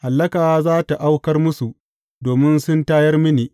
Hallaka za tă aukar musu, domin sun tayar mini!